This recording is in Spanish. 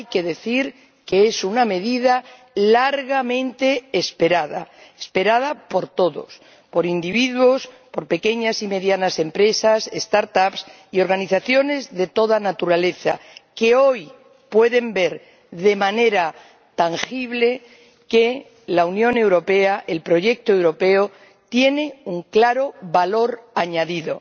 es una medida largamente esperada. Esperada por todos por particulares, por pequeñas y medianas empresas, start ups y organizaciones de toda naturaleza, que hoy pueden ver de manera tangible que la Unión Europea, el proyecto europeo, tiene un claro valor añadido.